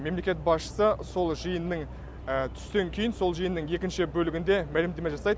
мемлекет басшысы сол жиынның түстен кейін сол жиынның екінші бөлігінде мәлімдеме жасайды